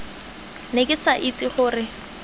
ne ke sa itse gore